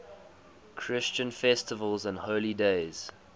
christian festivals and holy days